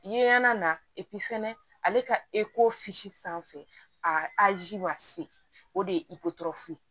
Yeana na fɛnɛ ale ka sanfɛ a ji ma se o de ye